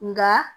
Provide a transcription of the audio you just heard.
Nka